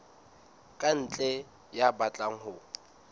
ka ntle ya batlang ho